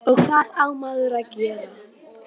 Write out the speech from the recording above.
og hvað á maður að gera?